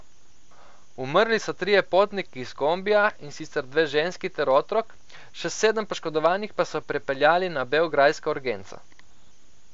Umrli so trije potniki iz kombija, in sicer dve ženski ter otrok, še sedem poškodovanih pa so prepeljali na beograjsko urgenco.